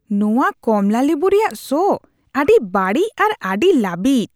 ᱱᱚᱣᱟ ᱠᱚᱢᱞᱟ ᱞᱤᱵᱩ ᱨᱮᱭᱟᱜ ᱥᱚ ᱟᱹᱰᱤ ᱵᱟᱹᱲᱤᱡ ᱟᱨ ᱟᱹᱰᱤ ᱞᱟᱹᱵᱤᱫ ᱾